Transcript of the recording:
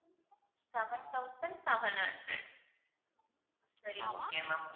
seven thousand seven hundred சரி okay ma'am